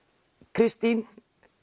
Kristín